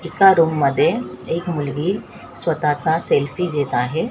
एका रूम मध्ये एक मुलगी स्वतःचा सेल्फी घेत आहे.